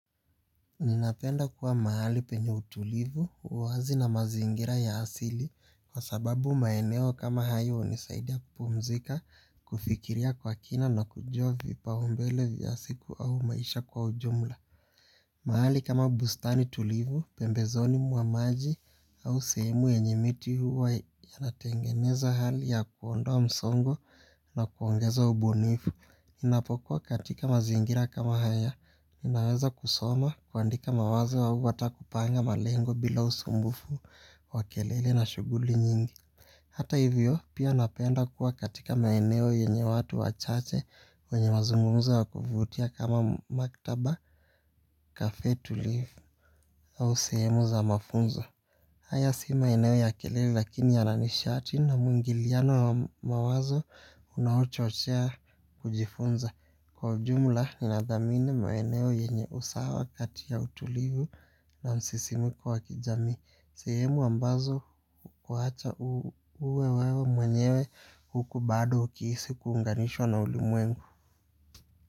Ninapenda kuwa mahali penye utulivu, uwazi na mazingira ya hasili kwa sababu maeneo kama hayo unisaidia kupumzika, kufikiria kwa kina na kujua vipau mbele vya siku au maisha kwa ujumla. Mahali kama bustani tulivu, pembezoni mua maji au semu yenye miti huwa yanatengeneza hali ya kuondowa msongo na kuongeza ubunifu. Inapokuwa katika mazingira kama haya, inaweza kusoma kwaandika mawazo hau ata kupanga malengo bila usumbufu wa kelele na shuguli nyingi. Hata hivyo pia napenda kuwa katika maeneo yenye watu wachache wenye mazungumzo wakuvutia kama maktaba kafe tulivu au sehemu za mafunzo. Haya si maeneo ya kelele lakini yana nishati na muingiliano mawazo unahochochea kujifunza. Kwa jumla ninadhamini maeneo yenye usawa katia utulivu na msisimuko wa kijami. Sehemu ambazo wacha uwewe mwenyewe huku bado ukiisi kuunganishwa na ulimwengu.